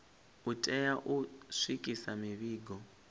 u tea u swikisa mivhigo